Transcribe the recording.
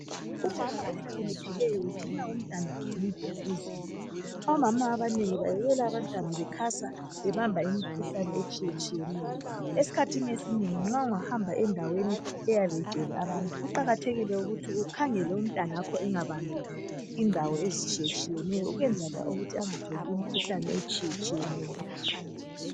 Umama ohlakaniphileyo ugcina umntanakhe kuhle. Omama abanengi bayekela abantwana bekhasa bebamba imikhuhlane etshiyetshiyeneyo. Esikhathini esinengi nxa ungahamba endaweni eyabe igcwele abantu kuqakathekile ukuthi ukhangele umntanakho engabambi indawo ezitshiyeneyo ukwenzela ukuthi engathathi imikhuhlane.